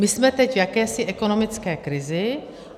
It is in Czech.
My jsme teď v jakési ekonomické krizi.